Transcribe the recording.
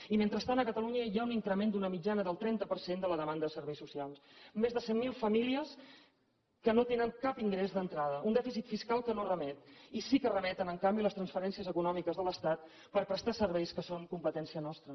i mentrestant a catalunya hi ha un increment d’una mitjana del trenta per cent de la demanda de serveis socials més de cent mil famílies que no tenen cap ingrés d’entrada un dèficit fiscal que no remet i sí que remeten en canvi les transferències econòmiques de l’estat per prestar serveis que són competència nostra